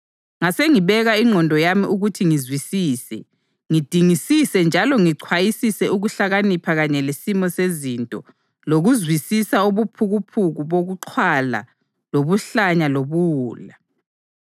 Ngasengibeka ingqondo yami ukuthi ngizwisise, ngidingisise njalo ngichwayisise ukuhlakanipha kanye lesimo sezinto lokuzwisisa ubuphukuphuku bokuxhwala lobuhlanya lobuwula.